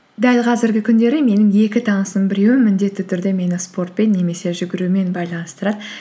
дәл қазіргі күндері менің екі танысымның біреуі міндетті түрде мені спортпен немесе жүгірумен байланыстырады